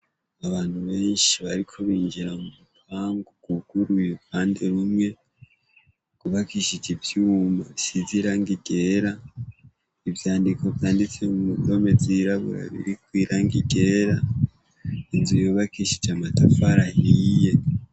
Abantu benshi bariko binjira murupangu rwuguruye uruhande rumwe, rwubakishije ivyuma bisize irangi ryera, ivyandiko vyanditse mu ndome zirabura irangi ryera, yubakishije amatafari ahiye.